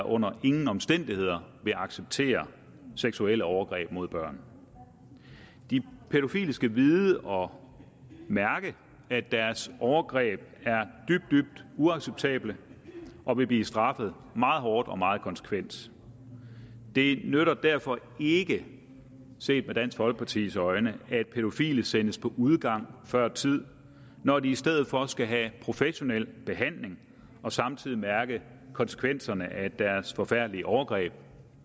under ingen omstændigheder vil acceptere seksuelle overgreb mod børn de pædofile skal vide og mærke at deres overgreb er dybt dybt uacceptable og vil blive straffet meget hårdt og meget konsekvent det nytter derfor ikke set med dansk folkepartis øjne at pædofile sendes på udgang før tid når de i stedet for skal have professionel behandling og samtidig mærke konsekvenserne af deres forfærdelige overgreb